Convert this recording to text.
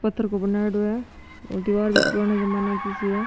पत्थर को बणायोडो है और दिवार भी पुराना जमाना की सी है।